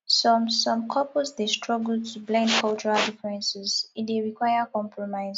some some couples dey struggle to blend cultural differences e dey require compromise